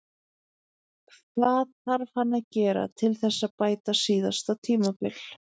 Hvað þarf hann að gera til þess að bæta síðasta tímabil?